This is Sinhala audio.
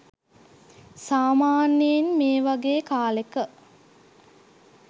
සාමාන්‍යයෙන් මේ වගේ කාලෙක